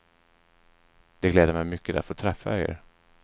Det gläder mig mycket att få träffa er.